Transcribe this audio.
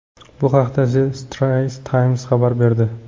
Bu haqda The Straits Times xabar berdi.